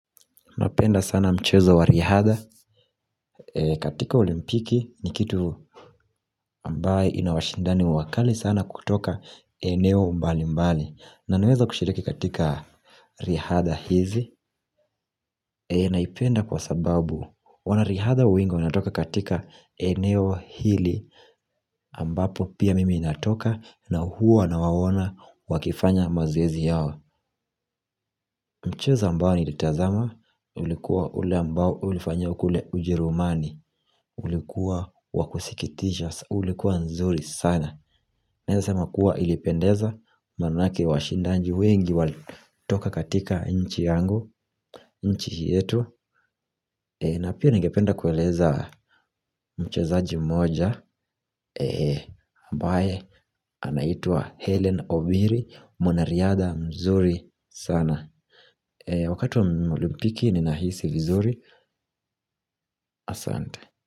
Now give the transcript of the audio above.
Napenda sana mchezo wa Rihadha katika olimpiki ni kitu ambayo inawashindani wakali sana kutoka eneo mbali mbali na naweza kushiriki katika Rihadha hizi Napenda sana mchezo wa Riadha katika olimpiki ni kitu ambayo inawashindani wakali sana kutoka eneo mbali mbali na naweza kushiriki katika Riadha hizi ambapo pia mimi inatoka na huwa nawawona wakifanya mazoezi yao mchezo ambao nilitazama ulikuwa ule ambao ulifanya kule ujerumani ulikuwa wakusikitisha ulikuwa nzuri sana Nayasama kuwa ilipendeza Manaki washindaji wengi Walitoka katika nchi yangu nchi yetu na pia ningependa kueleza Mchezaji mmoja ambae Anaitua Helen Obiri Mwanariada mzuri sana Wakati mlimpiki Ninahisi vizuri Asante.